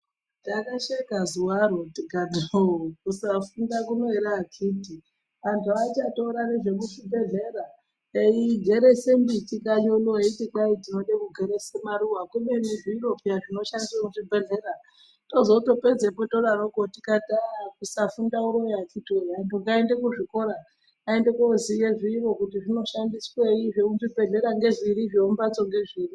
Ndakasheka zuwaro tikati hoo kusafunda kuno ere akiti anhu achatora nezvemuchibhehlera eigerese miti kanyi uno eiti kwai tinode kugerese maruwa kubeni zviro peya zvinoshandiswe muzvibhehlera tozotopedzepo todaroko tikati aah kusafunda uroyi akiti woye anhu ngaaende kuzvikora aende koziye zviro kuti zvinoshandiswei, zvemuchibhehleya ngezviri zvemumhatso ngezviri.